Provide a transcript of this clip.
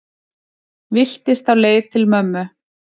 Villtist á leið til mömmu